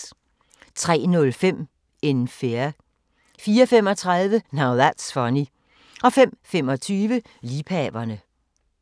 03:05: In Fear 04:35: Now That's Funny 05:25: Liebhaverne